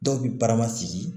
Dɔw bi barama sigi